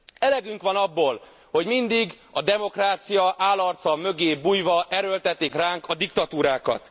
Elegünk van abból, hogy mindig a demokrácia álarca mögé bújva erőltetik ránk a diktatúrákat.